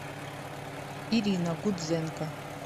ирина гудзенко